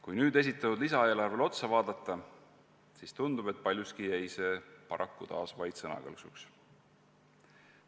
Kui nüüd aga lisaeelarvele otsa vaadata, siis tundub, et paraku jäi see paljuski taas vaid sõnakõlksuks.